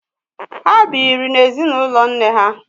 Ha bịịri n'ezinụlọ nne ha.